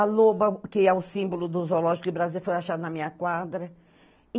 A loba, que é o símbolo do zoológico de Brasília, foi achada na minha quadra.